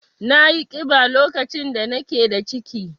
Nayi ƙiba lokacin da nake da ciki.